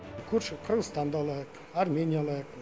көрші қырғызстанды алайық армения алайық